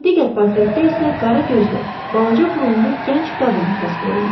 Digər portretdə isə qara gözlü, balaca burunlu gənc qadın təsvir olunub.